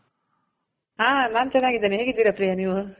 ಹಾ ನಾನ್ ಚೆನಾಗಿದಿನಿ ಹೇಗಿದ್ದೀರ ಪ್ರಿಯ ನೀವು?